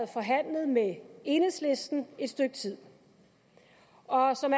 forhandlet med enhedslisten et stykke tid og som